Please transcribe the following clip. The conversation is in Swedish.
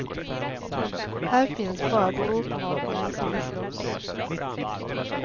Här finns bara bråkmakare som vill slåss.